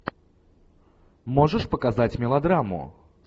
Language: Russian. можешь показать мелодраму